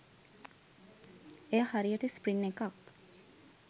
එය හරියට ස්ප්‍රින් එකක්